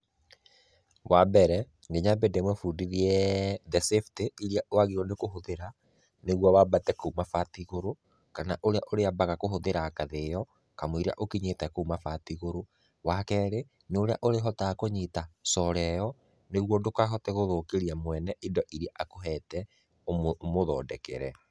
Wa mbere nĩ nyambe ndĩmũbundithie the safety iria wagĩrĩirĩũo nĩ kũhũdhĩra nĩgĩuo wabate kũu mabati igũrũ kana ũrĩa ũrĩa mbaga kũhũthĩra ngathĩ ĩyo kamũiria ũkinyĩte kũu mabati igũrũ. Wa kerĩ nĩ ũrĩa ũrĩhotaga kũnyita solar ĩyo nĩguo ndũkahote gũthũkĩria mwene indo iria akũhete ũmũthondekere.